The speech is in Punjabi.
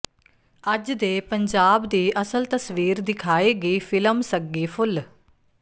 ਅੱਜ ਦੇ ਪੰਜਾਬ ਦੀ ਅਸਲ ਤਸਵੀਰ ਦਿਖਾਏਗੀ ਫ਼ਿਲਮ ਸੱਗੀ ਫੁੱਲ